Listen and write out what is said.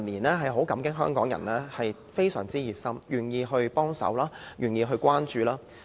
我們很感激香港人近年非常熱心，願意幫忙和關注。